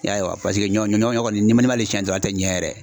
I y'a ye wa paseke ɲɔ ɲɔ kɔni n'i m'ale siyɛn dɔrɔn ale tɛ ɲɛ yɛrɛ .